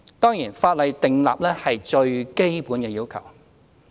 當然，法例訂立的是最基本的要求。